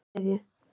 Miðsitju